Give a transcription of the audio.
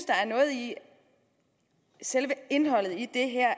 der er noget i selve indholdet i det her